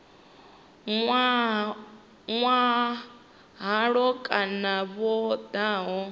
nwa halwa kana vho daha